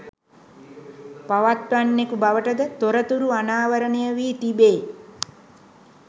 පවත්වන්නකු බවටද තොරතුරු අනාවරණයවී තිබේ